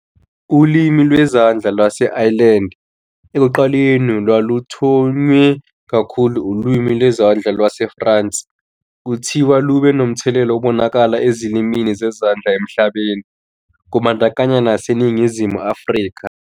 Ulimi Lwezandla Lwase-Ireland, "ekuqaleni olwaluthonywe kakhulu uLimi Lwezandla LwaseFrance " kuthiwa lube nomthelela obonakalayo ezilimini zezandla emhlabeni, kubandakanya naseNingizimu Afrika.